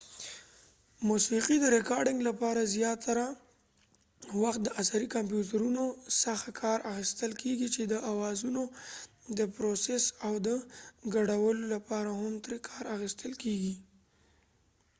موسیقی د ریکارډنګ لپاره زیاتره وخت د عصری کمپیوټرونو څخه کار اخستل کېږی چې د اوازونو دپروسس او د ګډولو لپاره هم تری کار اخستل کېږی